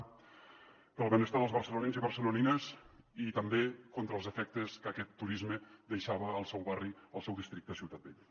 pel benestar dels barcelonins i barcelonines i també contra els efectes que aquest turisme deixava al seu barri al seu districte de ciutat vella